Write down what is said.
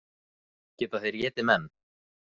Geta þeir étið menn?